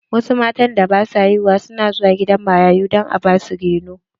Wasu matan da ba su da haihuwa na zuwa gidan marayu don a ba su reno.